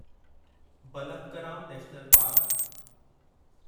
Balpakram national park